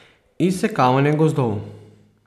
Izsekavanje gozdov.